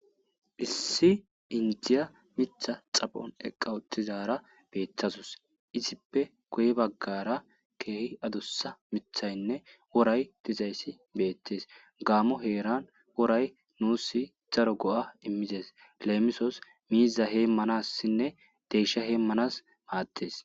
Isi inidiya mitha xaphoni eqa utidara betawusi izippe guye baggara issi gitta mithayine worayi betesi gammo herani worayi nusi darro go'a imisi lemisosi miza hemanawu maddesi.